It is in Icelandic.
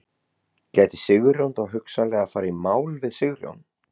Gæti Sigurjón þá hugsanlega farið í mál við Sigurjón?